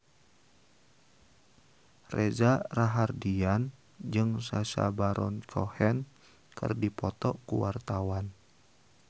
Reza Rahardian jeung Sacha Baron Cohen keur dipoto ku wartawan